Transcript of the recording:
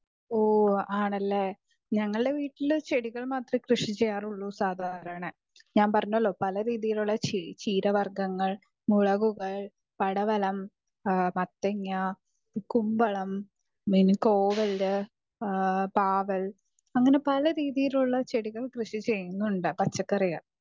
speaker 2 ഓ ആണല്ലേ ഞങ്ങളുടെ വീട്ടിൽ ചെടികൾ മാത്രമുള്ളു കൃഷി ചെയാറുള്ളു സാധാരണ ഞാൻ പറഞ്ഞെല്ലോ പല രീതികളിലുള്ള ചീര വർഗങ്ങൾ മുളകുകൾ പടവലം മത്തങ്ങ കുമ്പളം പാവൽ അങ്ങനെ പല രീതിയിലുള്ള കൃഷികൾ ചെയുന്നുണ്ട് പച്ചക്കറി